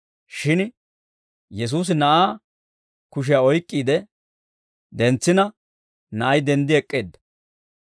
Shin Yesuusi na'aa kushiyaa oyk'k'iide dentsina, na'ay denddi ek'k'eedda.